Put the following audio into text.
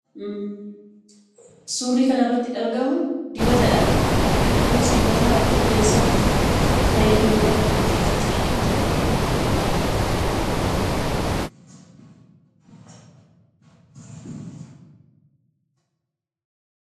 Suurri kanarratti argamu dibatadha. Dibanni kunis dibata rifeensaaf fayyadu yookaan rifeensatti kan dibatamudha.